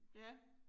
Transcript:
Ja